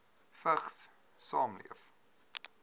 vigs saamleef